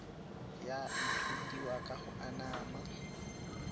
ya ithutiwa ka go anama